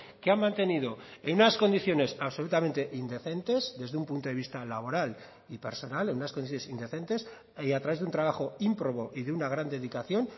que han mantenido en unas condiciones absolutamente indecentes desde un punto de vista laboral y personal en unas condiciones indecentes y a través de un trabajo ímprobo y de una gran dedicación